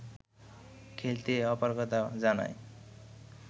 খেলতে অপারগতা জানায়